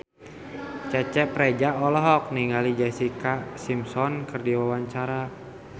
Cecep Reza olohok ningali Jessica Simpson keur diwawancara